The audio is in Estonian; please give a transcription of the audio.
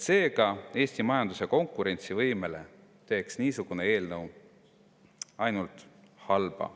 Seega, Eesti majanduse konkurentsivõimele teeks niisugune eelnõu ainult halba.